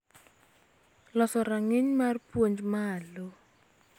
Loso rang�iny mar puonj malo.